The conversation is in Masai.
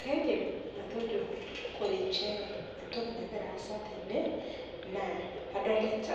kaidim atejo ore inchere entoki naigira asa adolita